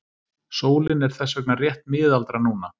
Sólin er þess vegna rétt miðaldra núna.